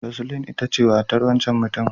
Roseline ita ce matar wancan mutumin.